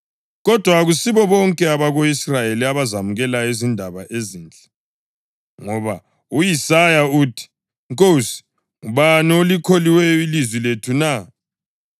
Kodwa akusibo bonke abako-Israyeli abazamukelayo izindaba ezinhle. Ngoba u-Isaya uthi, “Nkosi, ngubani olikholiweyo ilizwi lethu na?” + 10.16 U-Isaya 53.1